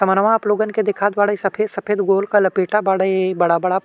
समन्वा आपलोगां के देखावत बाड़े सफेद-सफेद गोल का लपेटा बाड़े बड़ा-बड़ा।